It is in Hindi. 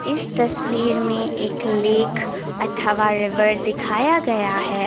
इस तस्वीर में एक लेख अथवा रिवर दिखाया गया है।